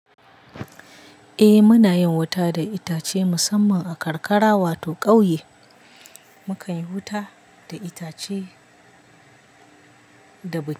Eh muna yin wuta da itace musamman a karkara wato kauye mukan yi wuta da itace da busasshen dare.